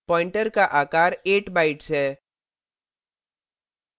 pointer pointer का आकार 8 bytes है